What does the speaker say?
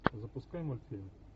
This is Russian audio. запускай мультфильм